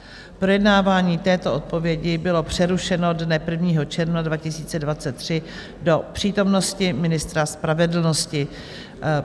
Projednávání této odpovědi bylo přerušeno dne 1. června 2023 do přítomnosti ministra spravedlnosti.